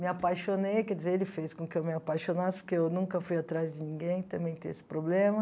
Me apaixonei, quer dizer, ele fez com que eu me apaixonasse, porque eu nunca fui atrás de ninguém também tenho esse problema.